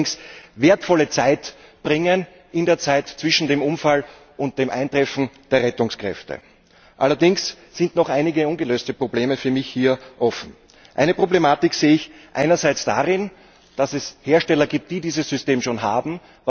Es wird allerdings wertvolle Zeit bringen in der Zeit zwischen dem Unfall und dem Eintreffen der Rettungskräfte. Allerdings sind für mich hier noch einige ungelöste Probleme offen. Eine Problematik sehe ich einerseits darin, dass es Hersteller gibt, die dieses System schon haben.